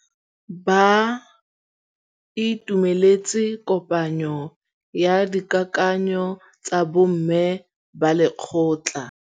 Ba itumeletse kôpanyo ya dikakanyô tsa bo mme ba lekgotla.